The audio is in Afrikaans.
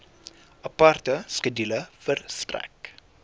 aparte skedule verstrek